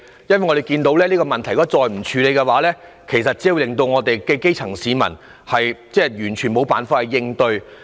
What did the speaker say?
如果這問題再不處理，只會令基層市民完全無法應對。